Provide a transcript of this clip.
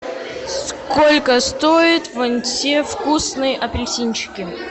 сколько стоят вон те вкусные апельсинчики